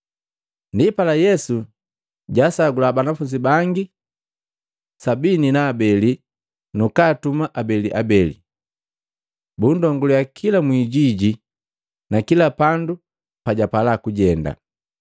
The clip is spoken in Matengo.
Ndipala Yesu jasagula banafunzi bangi makomi saba na abele nakaatuma abeliabeli, bundonguliya kila mwikijiji na kila pandu pajapala kujenda.